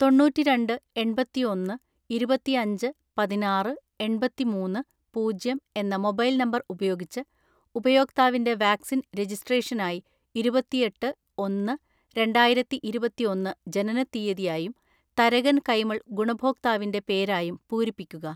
തൊണ്ണൂറ്റിരണ്ട് എണ്‍പത്തിഒന്ന് ഇരുപത്തിഅഞ്ച് പതിനാറ്‌ എണ്‍പത്തിമൂന്ന് പൂജ്യം എന്ന മൊബൈൽ നമ്പർ ഉപയോഗിച്ച് ഉപയോക്താവിന്റെ വാക്‌സിൻ രജിസ്‌ട്രേഷനായി ഇരുപത്തിഎട്ട് ഒന്ന് രണ്ടായിരത്തിഇരുപത്തിഒന്ന് ജനനത്തീയതിയായും തരകൻ കൈമൾ ഗുണഭോക്താവിന്റെ പേരായും പൂരിപ്പിക്കുക.